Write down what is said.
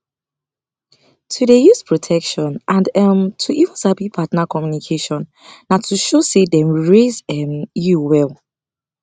to dey use protection and um to even sabi partner communication na to show say dem raise um you well